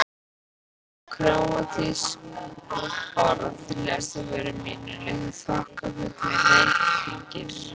Króatísk orð liðast af vörum mínum líkt og þokkafullir reykhringir.